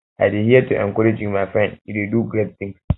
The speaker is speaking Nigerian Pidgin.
i dey here to encourage you my friend you dey do great tings do great tings